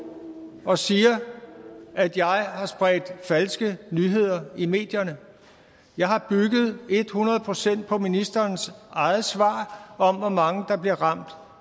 og siger at jeg har spredt falske nyheder i medierne jeg har bygget et hundrede procent på ministerens eget svar om hvor mange der blev ramt